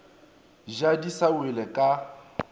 ja di sa wele ka